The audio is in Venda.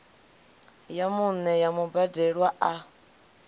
ya vhuṋe ya mubadelwa a